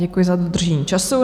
Děkuji za dodržení času.